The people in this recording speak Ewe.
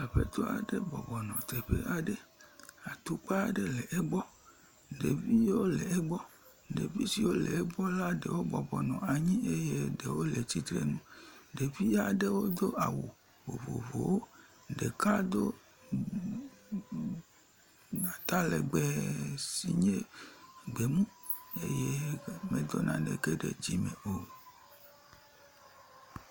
Aƒetɔ aɖe bɔbɔnɔ teƒe aɖe. Atukpa aɖe le egbɔ. Ɖeviwo le egbe. Ɖevi siwo le egbɔ la ɖewo bɔbɔnɔ anyi eye ɖewo le tsitrenu. Ɖevi aɖewo do awu vovovowo. Ɖeka do atalegbe si nye gbemu eye medo naneke ɖe dzime o.